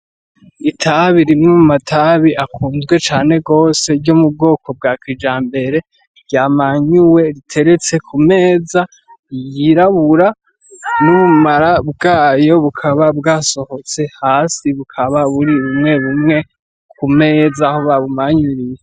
Itabi rimwe mu matabi akunzwe cane gose ryo mu bwoko bwa kijambere, ryamanyuwe riteretse ku meza yirabura n'ubumara bwayo bukaba bwasohotse hasi bukaba buri bumwebumwe ku meza aho babumanyuriye.